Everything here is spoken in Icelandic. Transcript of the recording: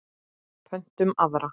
Pöntum aðra.